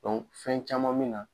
fɛn caman min na